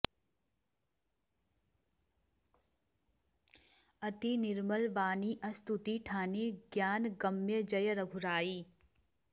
अति निर्मल बानीं अस्तुति ठानी ग्यानगम्य जय रघुराई